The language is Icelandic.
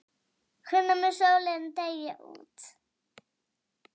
Hvenær mun sólin deyja út?